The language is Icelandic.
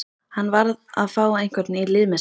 Hann varð að fá einhvern í lið með sér.